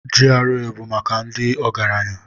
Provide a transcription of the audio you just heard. GRA bụ maka ndị ọgaranya.